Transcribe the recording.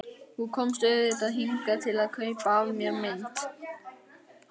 Þú komst auðvitað hingað til að kaupa af mér mynd.